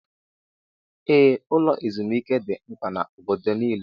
Ee, ụlọ ezumike dị mkpa na obodo nile